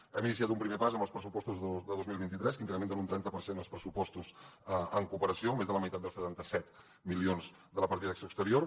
hem iniciat un primer pas amb els pressupostos de dos mil vint tres que incrementen un trenta per cent els pressupostos en cooperació més de la meitat dels setanta set milions de la partida d’acció exterior